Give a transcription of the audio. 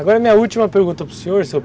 Agora a minha última pergunta para o senhor, sr.